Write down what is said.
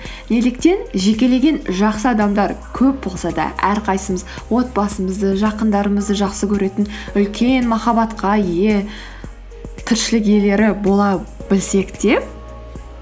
неліктен жекелеген жақсы адамдар көп болса да әрқайсымыз отбасымызды жақындарымызды жақсы көретін үлкен махаббатқа ие тіршілік иелері бола білсек те